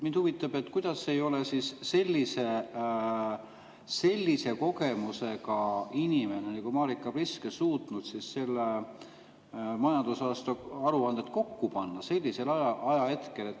Mind huvitab, kuidas ei ole sellise kogemusega inimene nagu Marika Priske suutnud seda majandusaasta aruannet kokku panna sellisel ajahetkel?